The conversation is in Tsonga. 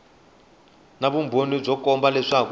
na vumbhoni byo komba leswaku